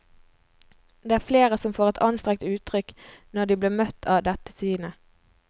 Det er flere som får et anstrengt uttrykk når de blir møtt av dette synet.